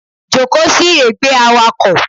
Joko sí ègbé Awakọ̀